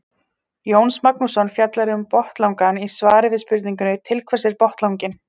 Jónas Magnússon fjallar um botnlangann í svari við spurningunni Til hvers er botnlanginn?